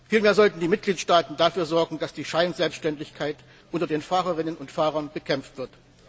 Vielmehr sollten die Mitgliedstaaten dafür sorgen, dass die Scheinselbständigkeit unter den Fahrerinnen und Fahrern bekämpft wird.